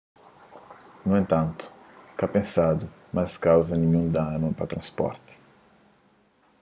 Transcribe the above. nu entantu ka pensadu ma es kauza ninhun danu pa transporti